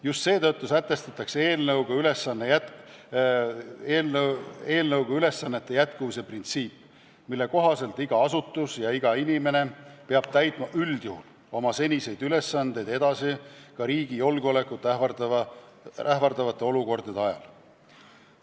Just seetõttu sätestatakse eelnõuga ülesannete jätkuvuse printsiip, mille kohaselt iga asutus ja iga inimene peab täitma üldjuhul oma seniseid ülesandeid edasi ka riigi julgeolekut ähvardavate olukordade ajal.